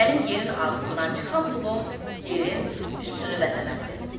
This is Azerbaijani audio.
Mənim yerin altından çıxan pulum yerin üstünü bəzəməlidir.